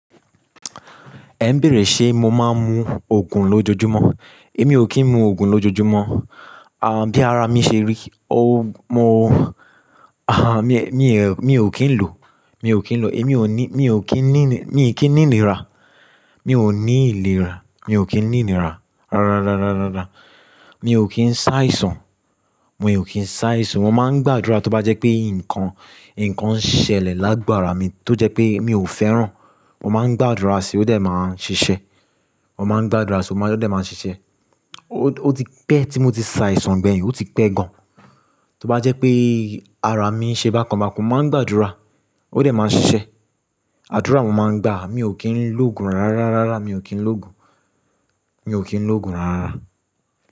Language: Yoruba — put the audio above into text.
Ẹ ń bèrè ṣé mo máa ń mu òògùn lójoojúmọ́. Èmi ò kí ń mu òògùn lójoojúmọ́. À, bí ara mi ṣe rí, o mo, a, mi, mi, mi ò kí ń lò, mi ò kí ń lò, èmi ò ní, mi ò kí ń ní, mi ò kí ń ní ìnira, mi ò ní ìlera, mi ò kí ń ní ìnira. Rárá, rárá, rárá, rárá. Mi ò kí ń ṣàìsàn, mo ò kí ń ṣàìsàn. Mo máa ń gbàdúrà tó bá jẹ́ pé nǹkan, nǹkan ṣẹlẹ̀ lágbára mi tó jẹ́ pé mi ò fẹ́ràn, mo máa ń gbàdúrà sí i, ó dẹ̀ máa ń ṣiṣẹ́. Mo máa ń gbàdúrà sí, ó máa dẹ̀ máa ń ṣiṣẹ́. Ó ti pẹ́ tí mo ti ṣàìsàn gbẹ̀yìn, ó ti pẹ́ gan. Tó bá jẹ́ pé ara mi ṣe bá kan bá kan, mo máa ń gbàdúrà, ó dẹ̀ máa ń ṣiṣẹ́. Àdúrà mo máa ń gbà, mi ò kí ń lò òògùn rárá, rárá, rárá. Mi ò kí ń lò òògùn, mi ò kí ń lò òògùn rárá.